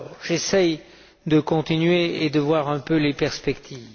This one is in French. J'essaie de continuer et de voir un peu les perspectives.